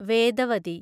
Vedavati